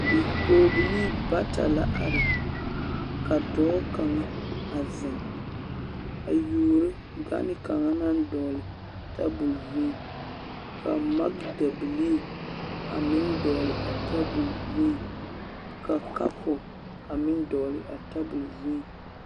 Bipɔgebilee bata la are ka dɔɔ kaŋa a ziŋ a yuoro gane kaŋa naŋ dɔɔle tabol zuiŋ ka magdabilee a meŋ dɔgle a tabol zuiŋ ka kapo a meŋ dɔgle a tabol zuiŋ.